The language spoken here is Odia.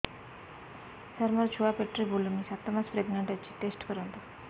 ସାର ମୋର ଛୁଆ ପେଟରେ ବୁଲୁନି ସାତ ମାସ ପ୍ରେଗନାଂଟ ଅଛି ଟେଷ୍ଟ କରନ୍ତୁ